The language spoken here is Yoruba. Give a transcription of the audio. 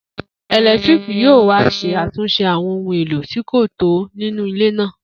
Eletiriki yoo wa ṣe atunṣe awọn ohun elo ti ko tọ ninu ile naa.